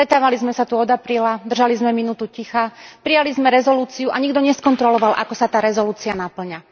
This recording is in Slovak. Stretávali sme sa tu od apríla, držali sme minútu ticha, prijali sme rezolúciu a nikto neskontroloval, ako sa tá rezolúcia napĺňa.